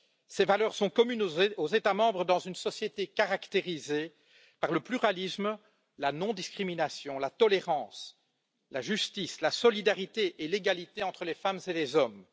Ces valeurs sont communes aux États membres dans une société caractérisée par le pluralisme, la non discrimination, la tolérance, la justice, la solidarité et l'égalité entre les femmes et les hommes.